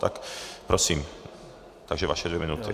Tak prosím, takže vaše dvě minuty.